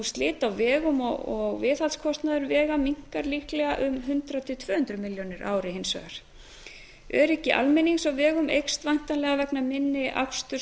slit á vegum og viðhaldskostnaður vega minnkar líklega um hundrað til tvö hundruð milljóna króna á ári hins vegar öryggi almennings á vegum eykst væntanlega vegna minni aksturs